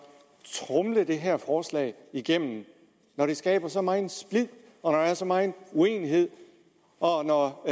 tromle det her forslag igennem når det skaber så megen splid og når der er så megen uenighed og når